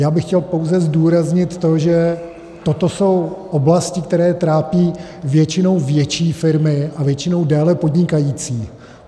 Já bych chtěl pouze zdůraznit to, že toto jsou oblasti, které trápí většinou větší firmy a většinou déle podnikající.